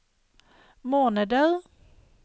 måneder